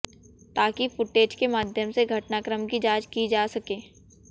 ताकि फूटेज के माध्यम से घटनाक्रम की जांच की जा सकें